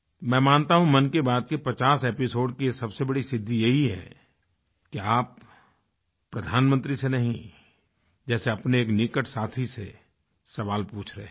मैं मानता हूँ मन की बात के 50 एपिसोड की सबसे बड़ी सिद्धि यही है कि आप प्रधानमंत्री से नहींजैसे अपने एक निकट साथी से सवाल पूछ रहे हैं